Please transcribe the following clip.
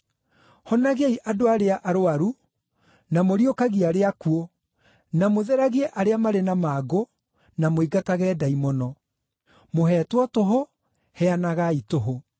Honagiai andũ arĩa arũaru, na mũriũkagie arĩa akuũ, na mũtheragie arĩa marĩ na mangũ, na mũingatage ndaimono. Mũheetwo tũhũ, heanagai tũhũ.